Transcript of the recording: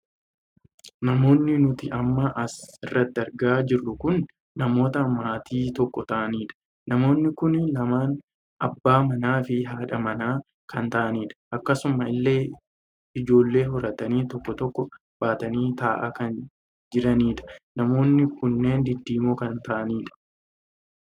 Namoonni nuti amma as irratti argaa jirru kun namoota maatii tokko ta'aaniidha. Namoonni kun lamaan abbaa manaa fi haadha mana kan ta'aaniidha. Akkasuma illee ijoollee horatanii tokko tokkoo baatanii taa'aa kan jiraniidha. Namoonni kunneen diddiimoo kan ta'aaniidha.